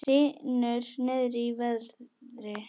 Hrynur niður í verði